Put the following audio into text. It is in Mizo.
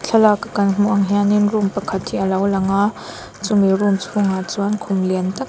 thalak a kan hmuh ang hian in room pakhat hi a lo lang a chumi room chhungah chuan khum lian tak hi--